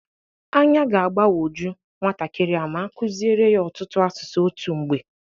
Anya ga-agbanwoju nwatakịrị a ma akụzịrị ya ọtụtụ asụsụ otu mgbe